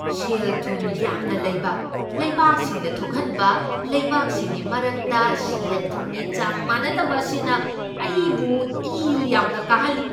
ꯁꯦꯜ ꯊꯨꯝ ꯌꯥꯝꯅ ꯂꯩꯕ ꯂꯩꯕꯥꯛꯁꯤꯡꯅ ꯊꯣꯛꯍꯟꯕ ꯂꯩꯕꯥꯛꯁꯤꯡꯒꯤ ꯃꯔꯛꯇ ꯁꯦꯜ ꯊꯨꯝꯒꯤ ꯆꯥꯡ ꯃꯥꯟꯅꯗꯕ ꯑꯁꯤꯅ ꯑꯩꯕꯨ ꯏ ꯌꯥꯝꯅ ꯀꯥꯍꯜꯂꯤ꯫